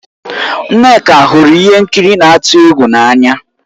Nneka hụrụ ihe nkiri na-atụ egwu n'anya